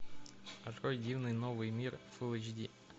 открой дивный новый мир фулл эйч ди